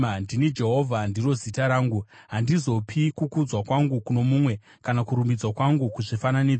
“Ndini Jehovha; ndiro zita rangu! Handizopi kukudzwa kwangu kuno mumwe, kana kurumbidzwa kwangu kuzvifananidzo.